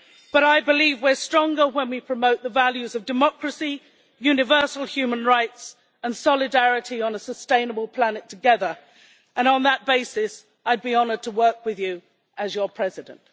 But I believe we are stronger when we promote the values of democracy, universal human rights, and solidarity on a sustainable planet together, and on that basis, I would be honoured to work with you as your President.